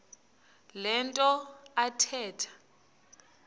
le nto athetha